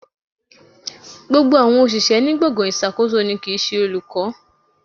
Gbogbo àwọn òṣìṣẹ́ ní gbọ̀ngàn ìṣàkóso ni kì ń ṣe olùkọ́.